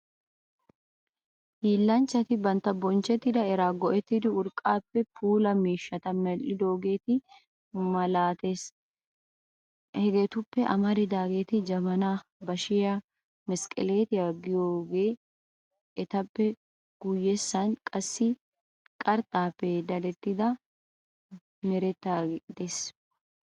Hiillanchchati bantta bonchchetta era go"ettidi urqqaappe puulaa miishshata medhdhidoogeeta malaatees. Hegetuppe amaridaageeti jabanaa, bashiyaa, mesqqeleetiya gidiyoode etappe guyyessay qassi qarxxaappe dadetti merettaagaa gidees.